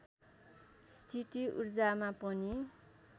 स्थिति ऊर्जामा पनि